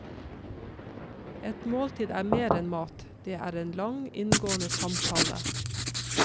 Et måltid er mer enn mat, det er en lang, inngående samtale.